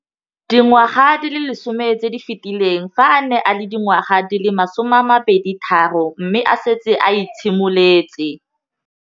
Dingwaga di le 10 tse di fetileng, fa a ne a le dingwaga di le 23 mme a setse a itshimoletse.